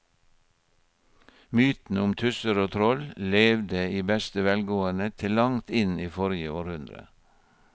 Mytene om tusser og troll levde i beste velgående til langt inn i forrige århundre.